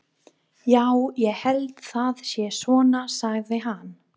Já, ég held það sé svona, sagði hann.